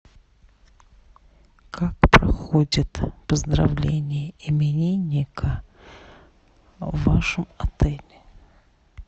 как проходит поздравление именинника в вашем отеле